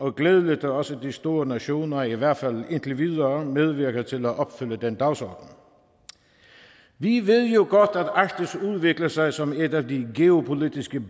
er glædeligt at også de store nationer i hvert fald indtil videre medvirker til at opfylde den dagsorden vi ved jo godt at arktis udvikler sig som et af de geopolitiske